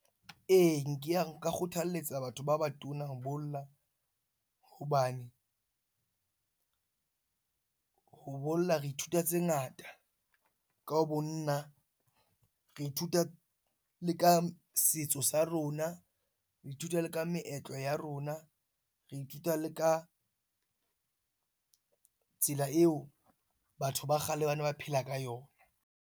Ee, ke ya nka kgothalletsa batho ba batona ho bolla hobane ho bolla re ithuta tse ngata, ka ho bonna. Re ithuta le ka setso sa rona, re ithuta le ka meetlo ya rona, re ithuta le ka tsela eo batho ba kgale ba ne ba phela ka yona.